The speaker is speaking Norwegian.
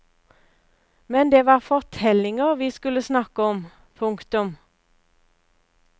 Men det var fortellinger vi skulle snakke om. punktum